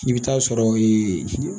I bɛ taa sɔrɔ ee